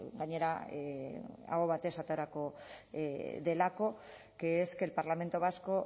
gainera aho batez aterako delako que es que el parlamento vasco